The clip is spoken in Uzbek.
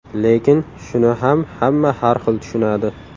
Lekin shuni ham hamma har xil tushunadi.